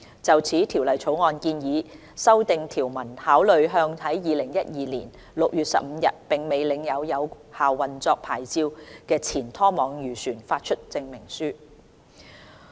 就此，《條例草案》建議訂定條文，考慮向在2012年6月15日並未領有有效運作牌照的前拖網漁船發出證明書。